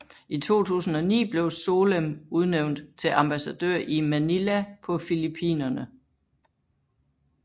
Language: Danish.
I 2009 blev Solem udnævnt til ambassadør i Manila på Filippinerne